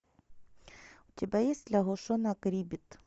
у тебя есть лягушонок риббит